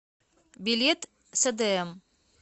билет сдм